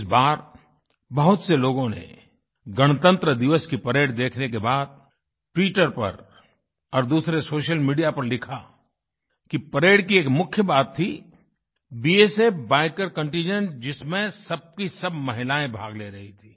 इस बार बहुत से लोगों ने गणतंत्र दिवस की परेड देखने के बाद ट्विटर पर और दूसरे सोशल मीडिया पर लिखा कि परेड की एक मुख्य बात थी बीएसएफ बाइकर कंटिंजेंट जिसमें सब की सब महिलाएँ भाग ले रहीं थी